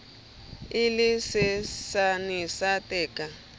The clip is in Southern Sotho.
e le tshesane sa theka